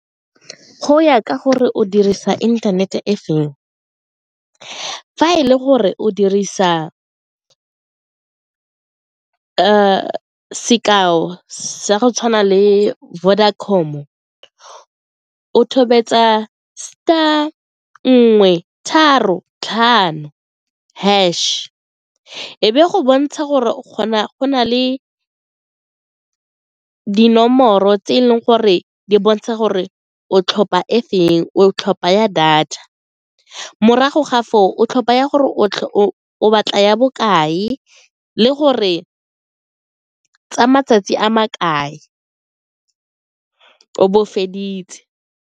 Go ya ka gore o dirisa internet-e e feng, fa e le gore o dirisa sekao sa go tshwana le Vodacom-o o tobetsa star nngwe tharo tlhano hash e be go bontsha gore o kgona go na le dinomoro tse e leng gore di bontsha gore o tlhopha e feng, o tlhopha ya data, ke morago ga foo o tlhopha ya gore o o batla ya bokae le gore tsa matsatsi a makae o bo o feditse.